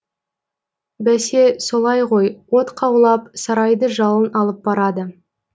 бәсе солай ғой от қаулап сарайды жалын алып барады